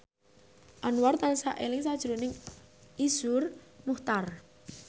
Anwar tansah eling sakjroning Iszur Muchtar